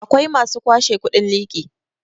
akwai masu kwashe kudin liki